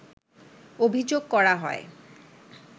অভিযোগ করা হয়